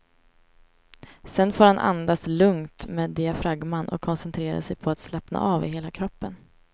Sedan får han andas lugnt med diafragman och koncentrera sig på att slappna av i hela kroppen.